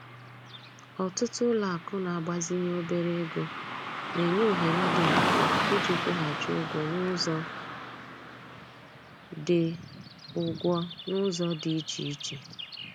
Ọtụtụ ụlọakụ na-agbazinye obere ego na-enye ohere dị mfe iji kwụghachi ụgwọ n'ụzọ dị ụgwọ n'ụzọ dị iche iche